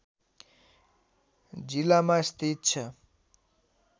जिलामा स्थित छ